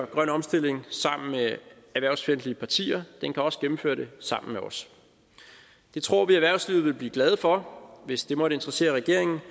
grønne omstilling sammen med erhvervsfjendtlige partier den kan også gennemføre det sammen med os det tror vi erhvervslivet vil blive glade for hvis det måtte interessere regeringen